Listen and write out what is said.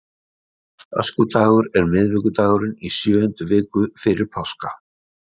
Öskudagur er miðvikudagurinn í sjöundu viku fyrir páska.